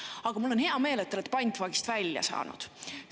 Aga mul on hea meel, et te olete pantvangist välja saanud.